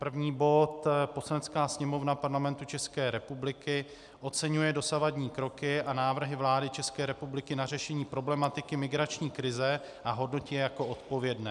První bod: Poslanecká sněmovna Parlamentu České republiky oceňuje dosavadní kroky a návrhy vlády České republiky na řešení problematiky migrační krize a hodnotí je jako odpovědné.